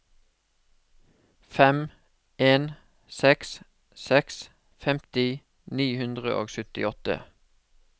fem en seks seks femti ni hundre og syttiåtte